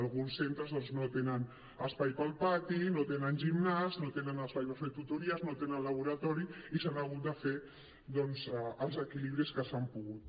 alguns centres doncs no tenen espai per al pati no tenen gimnàs no tenen espai per fer tutories no tenen laboratori i s’han hagut de fer doncs els equilibris que s’ha pogut